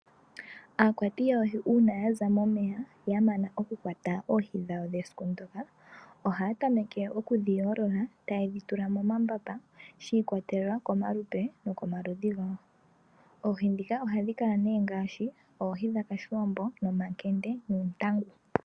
Aakwati yoohi uuna ya za momeya, ya mana okukwata oohi dhawo dhesiku ndyoka, ohaya tameke okudhi yoolola taye dhi tula momambamba, shi ikwatelela komalupe nokomaludhi gawo. Oohi ndhika ohadhi kala nduno ngaashi oohi dhOshiwambo, omakende noontangu.